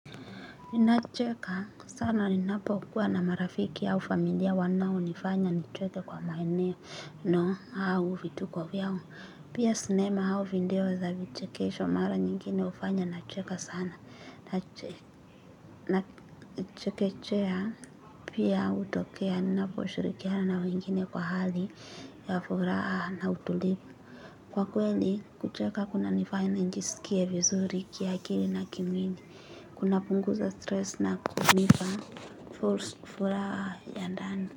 Ninacheka sana ninapo kuwa na marafiki au familia wanao nifanya nicheke kwa maeneo No, au vituko vyao. Pia sinema au video za vichekesho mara nyingine ufanya nacheke sana. Na chekechea pia utokea ninapo shirikiana na wengine kwa hali ya furaha na utulivu. Kwa kweli kucheka kuna nifanya njisikie vizurikia kili na kimwili. Kunapunguza stress na kunipa furaha ya ndani.